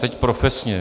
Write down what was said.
Teď profesně.